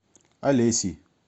олесей